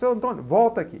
Seu Antônio, volta aqui.